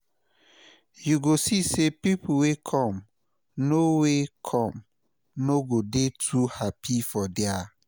yu go see say pipo wey kom no wey kom no go dey too hapi for dia